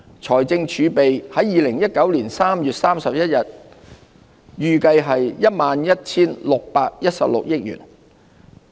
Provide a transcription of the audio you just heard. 財政儲備在2019年3月31日預計為 11,616 億元。